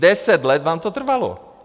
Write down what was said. Deset let vám to trvalo.